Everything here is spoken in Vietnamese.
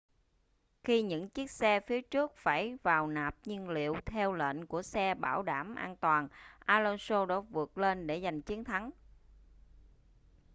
khi những chiếc xe phía trước phải vào nạp nhiên liệu theo lệnh của xe bảo đảm an toàn alonso đã vượt lên để giành chiến thắng